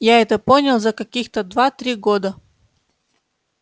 я это понял за каких-то два-три года